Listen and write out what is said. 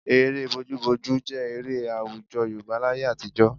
Eré bojúbojú jẹ́ eré àwùjọ Yorùbá láyé àtijọ́